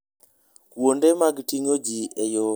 Kuonde mag ting'o ji e yo moriere miyo tudruok bedo maber.